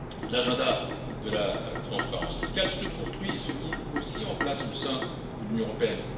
L'agenda de la transparence fiscale se construit et se met aussi en place au sein de l'Union européenne.